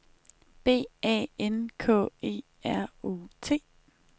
B A N K E R O T